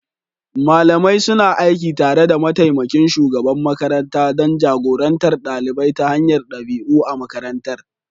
Malamai suna aiki tare da mataimakin shugaban makaranta don jagorantar ɗalibai ta hanyar ɗabi'u a makarantar.